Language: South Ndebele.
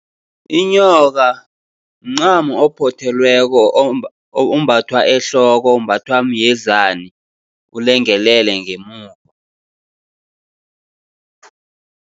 Inyoka mncamo ophothelweko ombathwa ehloko, umbathwa myezani ulengelele ngemuva.